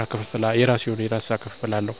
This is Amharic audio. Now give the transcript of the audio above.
የአሻንጉሊት ፊልሞችን፣ ተረቶችን ያነባል ያያል።